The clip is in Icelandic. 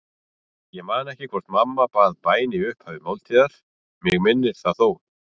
Ég man ekki hvort mamma bað bæn í upphafi máltíðar, mig minnir það þó.